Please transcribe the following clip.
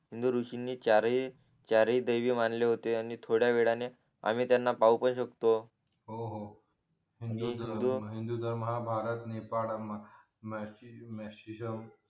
हिंदू ऋषींनी चार चारही दैव मानले होते आणि थोड्यावेळाने आम्ही त्याना पाहू पण शकतो हो हो म्हणजे हिंदू धर्म हा भारत नेपाळ